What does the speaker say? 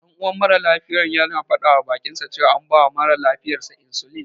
Ɗan uwan mara lafiyar yana faɗawa baƙinsa cewa an bawa mara lafiyar sa insulin.